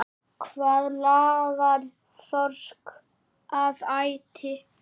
Hvað laðar þorsk að æti?